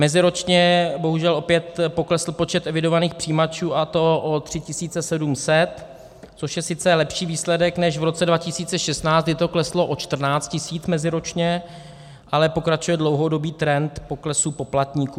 Meziročně bohužel opět poklesl počet evidovaných přijímačů, a to o 3 700, což je sice lepší výsledek než v roce 2016, kdy to kleslo o 14 000 meziročně, ale pokračuje dlouhodobý trend poklesu poplatníků.